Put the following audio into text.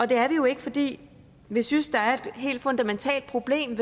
det er vi jo ikke fordi vi synes der er et helt fundamentalt problem